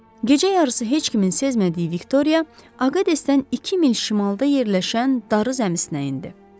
Gecə yarısı heç kimin sezmədiyi Viktoriya Aqadesdən iki mil şimalda yerləşən darı zəmisində idi.